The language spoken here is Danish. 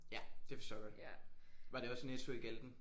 Ja det forstår jeg godt. Var det også Netto i Galten?